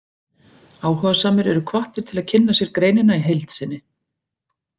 Áhugasamir eru hvattir til að kynna sér greinina í heild sinni.